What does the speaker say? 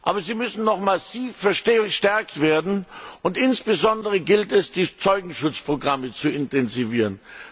Aber sie müssen noch massiv verstärkt werden, und insbesondere gilt es, die Zeugenschutzprogramme zu intensivieren.